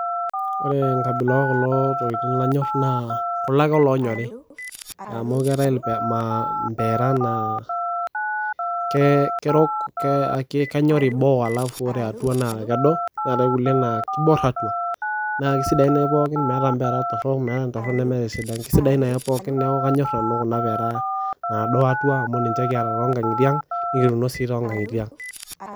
ore enkabila ookulo tokiting lanyor naa kulo ake loonyori, amu keetae ma mpeera naa ke kerok, ke kenyori boo alafu ore atua naa kedo neetae kulie naa kibor atua, naa kisidain naai pookin meeta mpeera ntorok, meetae intorono nemeetae esidai, kisidain ake pookin neeku kanyor nanu kuna mpera nado atua amu ninche kiata tonkang'itie ang nikituuno sii too nkang'itie ang.